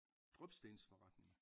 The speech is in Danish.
Drypstensforretning?